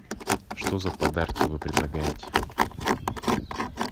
что за подарки вы предлагаете